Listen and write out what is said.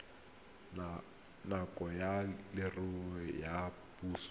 ngaka ya leruo ya puso